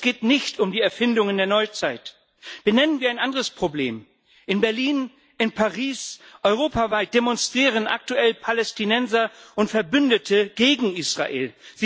Es geht nicht um die Erfindungen der Neuzeit. Benennen wir ein anderes Problem In Berlin, in Paris, europaweit demonstrieren aktuell Palästinenser und deren Verbündete gegen Israel.